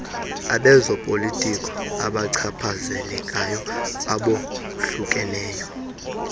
abezopolitiko abachaphazelekayo abohlukeneyo